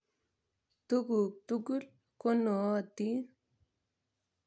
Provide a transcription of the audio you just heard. Tuguk tukul ko nootin.